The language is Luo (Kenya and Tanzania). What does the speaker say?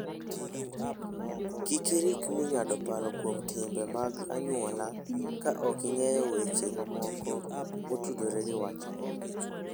Kik irikni ng'ado paro kuom timbe mag anyuolau ka ok ing'eyo weche mamoko motudore gi wachno.